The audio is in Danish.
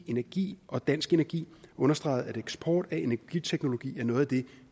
energi og dansk energi understreget at eksport af energiteknologi er noget af det